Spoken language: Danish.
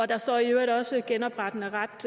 der står i øvrigt også genoprettende ret